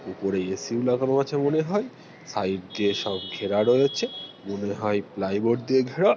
উপরে এ.সি -ও লাগানো আছে মনে হয় সাইড দিয়ে সব ঘেরা রয়েছে মনে প্লাইবোর্ড দিয়ে ঘেরা ।